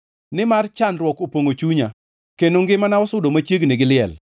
Nimar chandruok opongʼo chunya kendo ngimana sudo machiegni gi liel.